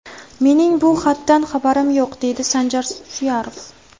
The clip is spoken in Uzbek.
Mening bu xatdan xabarim yo‘q, deydi Sanjar Suyarov.